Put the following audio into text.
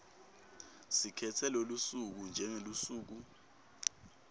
sikhetse lolusuku njengelusuku